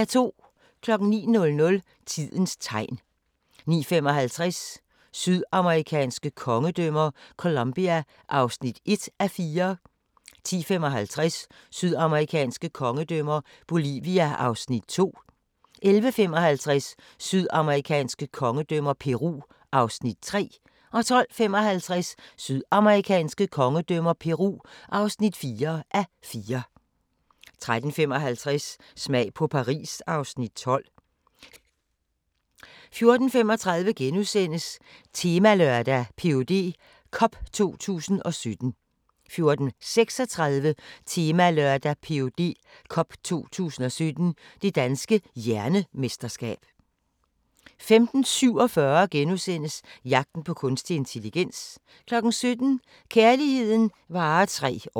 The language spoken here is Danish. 09:00: Tidens Tegn 09:55: Sydamerikanske kongedømmer - Colombia (1:4) 10:55: Sydamerikanske kongedømmer – Bolivia (2:4) 11:55: Sydamerikanske kongedømmer – Peru (3:4) 12:55: Sydamerikanske kongedømmer – Peru (4:4) 13:55: Smag på Paris (Afs. 12) 14:35: Temalørdag: Ph.d. Cup 2017 * 14:36: Temalørdag: Ph.D. Cup 2017 – Det Danske Hjernemesterskab 15:47: Jagten på kunstig intelligens * 17:00: Kærligheden varer tre år